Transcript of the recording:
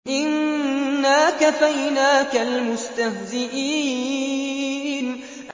إِنَّا كَفَيْنَاكَ الْمُسْتَهْزِئِينَ